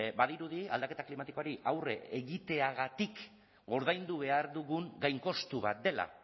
badirudi aldaketa klimatikoari aurre egiteagatik ordaindu behar dugun gainkostu bat dela